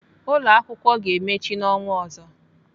Ụlọakwụkwọ ga-emechi n'ọnwa ọzọ.